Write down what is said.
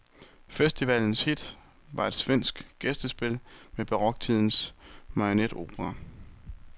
Festivalens hit var et svensk gæstespil med baroktidens marionetopera.